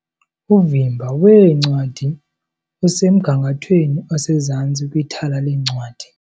Uvimba weencwadi usemgangathweni osezantsi kwithala leencwadi.